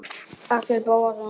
Axel Bóasson